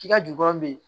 K'i ka jukɔrɔ bɛ ye